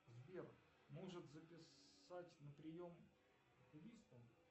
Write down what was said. сбер может записать на прием к окулисту